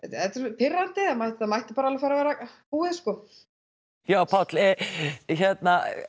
pirrandi þetta mætti bara alveg fara að verða búið sko já Páll hérna